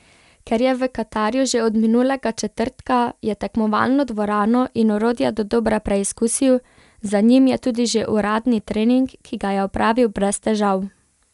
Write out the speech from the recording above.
Ker je v Katarju že od minulega četrtka, je tekmovalno dvorano in orodje dodobra preizkusil, za njim je tudi že uradni trening, ki ga je opravil brez težav.